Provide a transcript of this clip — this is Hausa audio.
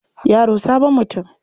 Yaro sabon mutum.